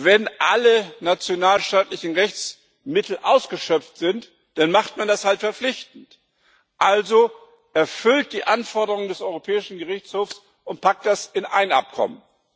wenn alle nationalstaatlichen Rechtsmittel ausgeschöpft sind, dann macht man das halt verpflichtend, erfüllt also die Anforderungen des Europäischen Gerichtshofs und packt das in ein Abkommen.